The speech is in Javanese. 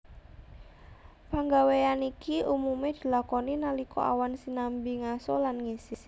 Panggawéyan iki umumé dilakoni nalika awan sinambi ngaso lan ngisis